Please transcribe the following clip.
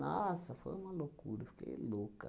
Nossa, foi uma loucura, eu fiquei louca.